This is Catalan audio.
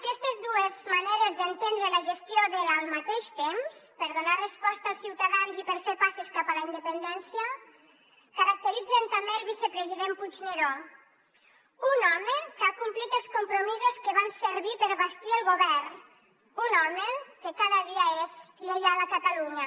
aquestes dues maneres d’entendre la gestió del al mateix temps per donar resposta als ciutadans i per fer passes cap a la independència caracteritzen també el vicepresident puigneró un home que ha complit els compromisos que van servir per bastir el govern un home que cada dia és lleial a catalunya